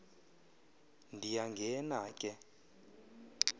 ndiya ngena ke